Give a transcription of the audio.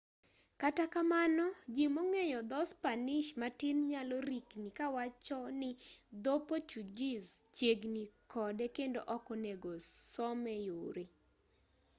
kata kamano ji mong'eyo dho spanish matin nyalo rikni kawacho ni dho portuguese chiegni kode kendo ok onego some yore